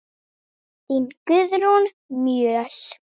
Þín Guðrún Mjöll.